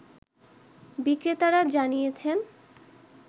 বিক্রেতারা জানিয়েছেন